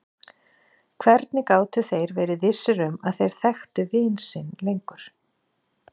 Hvernig gátu þeir verið vissir um að þeir þekktu vin sinn lengur?